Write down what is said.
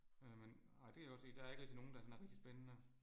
Øh men ej det er også et der ikke rigtig nogen der sådan er rigtig spændende